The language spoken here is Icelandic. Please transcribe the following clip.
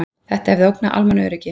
Þetta hefði ógnað almannaöryggi